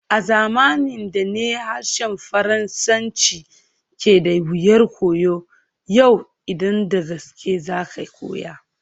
A zamanin da ne harshen Faransanci ke da wuyar koyo, yau idan da gaske za ka koya.